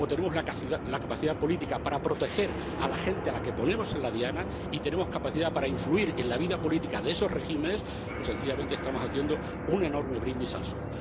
O tenemos la capacidad política para proteger a la gente a la que ponemos en la diana, y tenemos capacidad para influir en la vida política de esos regímenes, o sencillamente estamos haciendo un enorme brindis al sol.